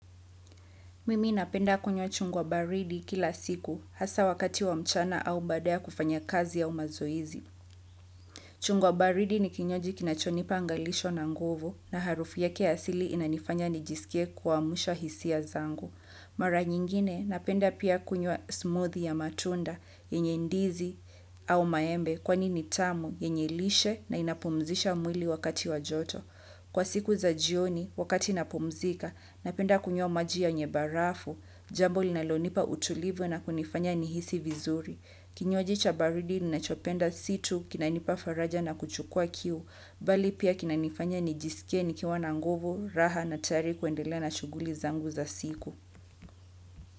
Mimi napenda kunywa chungwa baridi kila siku hasa wakati wa mchana au baada ya kufanya kazi au mazoezi. Chungwa baridi ni kinywaji kinachonipa angalisho na nguvu na harufu yake ya asili inanifanya nijisikie kuamsha hisia zangu. Mara nyingine napenda pia kunywa smoothie ya matunda yenye ndizi au maembe kwani ni tamu yenye lishe na inapumzisha mwili wakati wa joto. Kwa siku za jioni, wakati napumzika, napenda kunywa maji yenye barafu, jambo linalonipa utulivu na kunifanya nihisi vizuri. Kinywaji cha baridi, ninachopenda si tu, kinanipa faraja na kuchukua kiu, bali pia kinanifanya nijisike ni kiwa na nguvu, raha na tayari kuendele na shuguli zangu za siku.